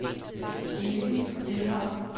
Elin Lindholm